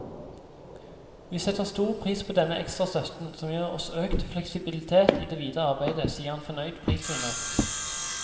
Vi setter stor pris på denne ekstra støtten, som gir oss økt fleksibilitet i det videre arbeidet, sier en fornøyd prisvinner.